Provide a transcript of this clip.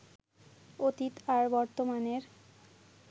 অতীত আর বর্তমানের